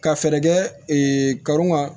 Ka fɛɛrɛ kɛ karun ka